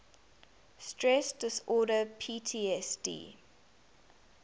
stress disorder ptsd